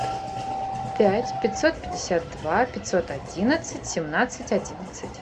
пять пятьсот пятьдесят два пятьсот одиннадцать семнадцать одиннадцать